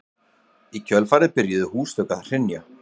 í kjölfarið byrjuðu húsþök að hrynja